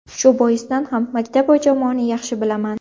Shu boisdan ham maktab va jamoani yaxshi bilaman.